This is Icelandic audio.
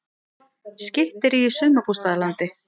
Skytterí í sumarbústaðalandi